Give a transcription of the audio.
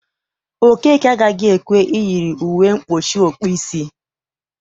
Okeke agaghị ekwe eyiri uwe mkpuchi ọkpụisi